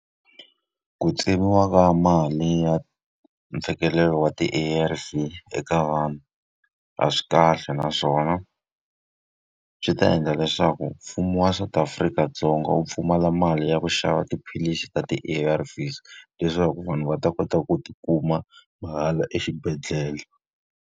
Ku tsemiwa ka mali ya mfikelelo wa ti-A_R_V eka vanhu a swi kahle naswona, swi ta endla leswaku mfumo wa South Afrika-Dzonga wu pfumala mali ya ku xava tiphilisi ta ti-A_R_Vs leswaku vanhu va ta kota ku ti kuma mahala exibedhlele.